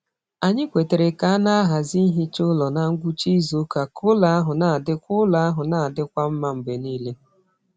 Anyị kwetara ka a na-ahazi ihicha ụlọ na ngwụcha izu ụka ka ụlọ ahụ na-adịkwa ụlọ ahụ na-adịkwa mma mgbe niile.